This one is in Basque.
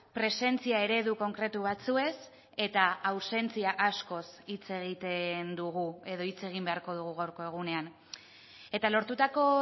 presentzia eredu konkretu batzuez eta ausentzia askoz hitz egiten dugu edo hitz egin beharko dugu gaurko egunean eta lortutako